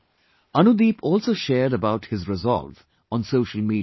Anudeep also shared about his resolve on social media